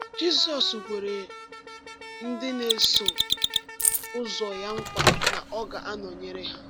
Jizọs kwere ndị na-eso ụzọ ya nkwa na ọ ga-anọnyere ha.